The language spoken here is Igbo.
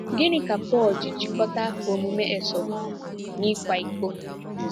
Gịnị ka Pọl ji jikọta omume Esau na ịkwa iko?